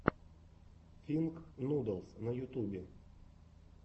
финк нудлс на ютубе